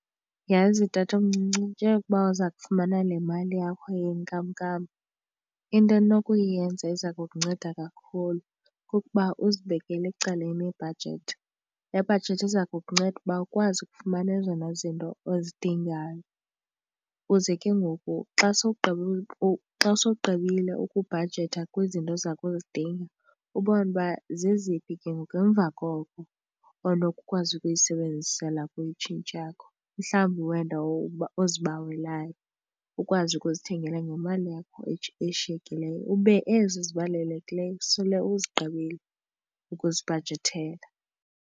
Yhazi, tatomncinci, njengokuba uza kufumana le mali yakho yenkamnkam into onokuyenza eza kukunceda kakhulu kukuba uzibekele ecaleni ibhajethi. Le bhajethi iza kukunceda ukuba ukwazi ukufumana ezona zinto ozidingayo ukuze ke ngoku xa sowugqibile, xa sowugqibile ukubhajetha kwizinto oza kuzidinga ubone uba zeziphi ke ngoku emva koko onokukwazi ukuzisebenzisela kuyo itshintshi yakho. Mhlawumbi wena ozibawelayo ukwazi ukuzithengela ngemali yakho eshiyekileyo ube ezo zibalulekileyo sele uzigqibile ukuzibhajethela.